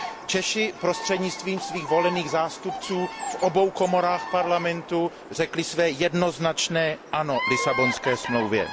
Češi prostřednictvím svých volených zástupců v obou komorách parlamentu řekli své jednoznačné ano Lisabonské smlouvě.